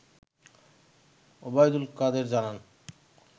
ওবায়দুল কাদের জানান